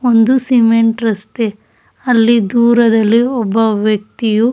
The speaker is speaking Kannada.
ಒಂದು ಸಿಮೆಂಟ್ ರಸ್ತೆ ಅಲ್ಲಿ ದೂರದಲ್ಲಿ ಒಬ್ಬ ವ್ಯಕ್ತಿಯು--